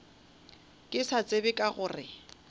ke sa tsebe ka gore